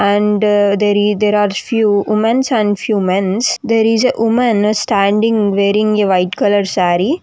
And there is there are few womens and few mens there is a woman standing wearing a white colour saree.